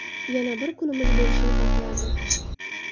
Yana bir kunimiz bo‘lishini xohlardim.